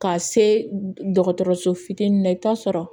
Ka se dɔgɔtɔrɔso fitinin ma i bɛ taa sɔrɔ